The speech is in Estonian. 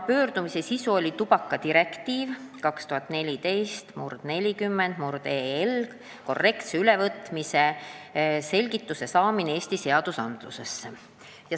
Pöördumises paluti selgitada tubakadirektiivi 2014/40/EL ülevõtmist Eesti seadustikku.